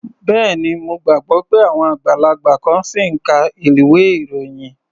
Bẹ́ẹ̀ni. Mo gbàgbọ́ pé àwọn àgbàlagbà kan ṣì ń ka ilwé-ìròyìn.